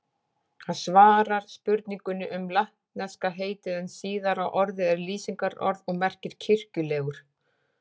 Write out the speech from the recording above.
Það svarar spurningunni um latneska heitið en síðara orðið er lýsingarorð og merkir kirkjulegur.